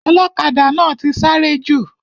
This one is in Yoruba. Ọlọ́kadà náà ti sáré jù.